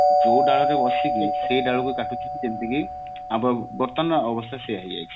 ଯୋଉ ଡାଳରେ ବସିକି ସେଇ ଡାଳକୁ କାଟୁଛି କି ସେମତି ବ ବର୍ତମାନ ଅବସ୍ଥା ସେଇଆ ହେଇ ଯାଇଛି